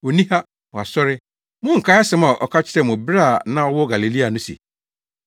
Onni ha. Wasɔre! Monnkae asɛm a ɔka kyerɛɛ mo bere a na ɔwɔ Galilea no se,